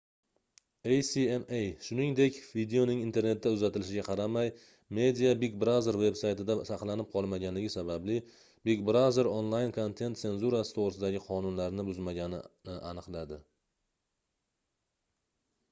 acma shuningdek videoning internetda uzatilishiga qaramay media big brother veb-saytida saqlanib qolmaganligi sababli big brother onlayn kontent senzurasi toʻgʻrisidagi qonunlarni buzmaganini aniqladi